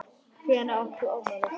Hvenær átt þú afmæli?